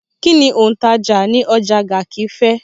Kín ni òǹtajà ní ọjà Garki fẹ̀?